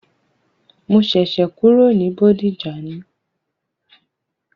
Mo ṣẹ̀ṣẹ̀ kúrò ní Bódìjà ni.